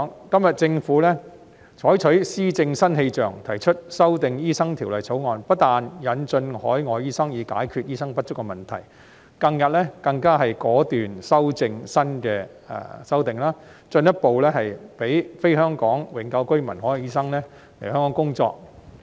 今天政府採取施政新氣象，提出修訂《醫生註冊條例》，不但引進海外醫生，以解決醫生不足的問題，近日更果斷提出新修訂，進一步讓非香港永久性居民的海外醫生來港工作。